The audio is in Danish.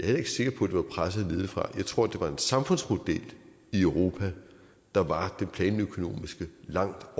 heller ikke sikker på at det var presset nedefra jeg tror at det var en samfundsmodel i europa der var den planøkonomiske langt